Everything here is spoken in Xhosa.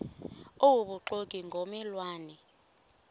obubuxoki ngomme lwane